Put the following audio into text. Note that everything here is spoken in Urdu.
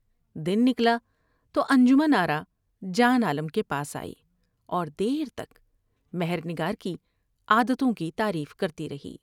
دن نکلا تو انجمن آرا جان عالم کے پاس آئی اور دیر تک مہر نگار کی عادتوں کی تعریف کرتی رہی ۔